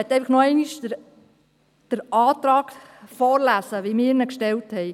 Ich möchte nochmals den Antrag vorlesen, so wie wir ihn gestellt haben: